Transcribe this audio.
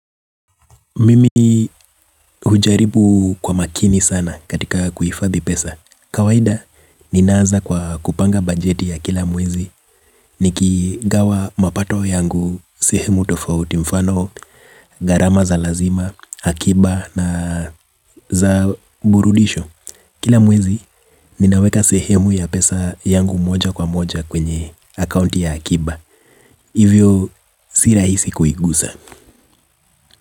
Mimi hujaribu kwa makini sana katika kuhifadhi pesa. Kawahida, ninaanza kwa kupanga bajeti ya kila mwezi. Nikigawa mapato yangu, sehemu tofauti. Mfano, gharama za lazima, akiba na za burudisho. Kila mwezi, ninaweka sehemu ya pesa yangu moja kwa moja kwenye akaunti ya akiba. Hivyo, si rahisi kuigusa.